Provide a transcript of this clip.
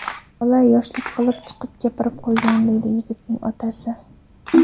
Bola yoshlik qilib, chiqib gapirib qo‘ygan”, deydi yigitning otasi.